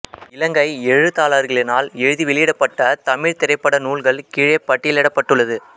இலங்கை எழுத்தாளர்களினால் எழுதி வெளியிடப்பட்ட தமிழ்த் திரைப்பட நூல்கள் கீழே பட்டியலிடப்பட்டுள்ளது